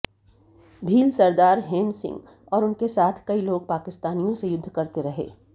भील सरदार हेम सिंह और उनके साथ कई लोग पाकिस्तानियों से युद्ध करते रहे